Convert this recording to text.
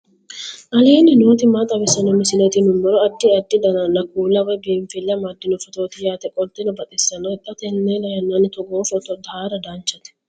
aleenni nooti maa xawisanno misileeti yinummoro addi addi dananna kuula woy biinfille amaddino footooti yaate qoltenno baxissannote xa tenne yannanni togoo footo haara danchate